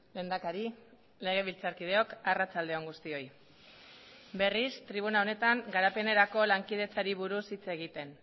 lehendakari legebiltzarkideok arratsalde on guztioi berriz tribuna honetan garapenerako lankidetzari buruz hitz egiten